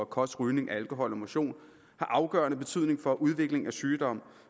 kost rygning alkohol og motion har afgørende betydning for udvikling af sygdom